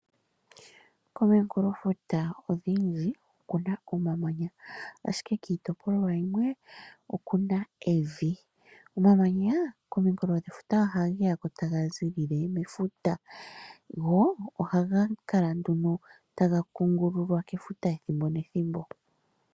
Kominkulofuta oshindji okuna omamanya ashike kiitopolwa yimwe, okuna evi. Omamanya kominkulodhefuta ohage ya ko taga zilile mefuta, go ohaga kala nduno taga kungululwa kefuta ethimbo nethimbo.